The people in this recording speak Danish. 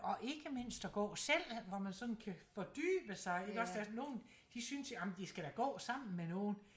Og ikke mindst at gå selv hvor man sådan kan fordybe sig iggås der er nogen de synes ej men de skal da gå sammen med nogen